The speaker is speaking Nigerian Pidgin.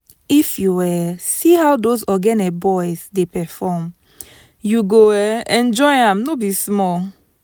if you um see how those ogene boys dey perform u go um enjoy am no be small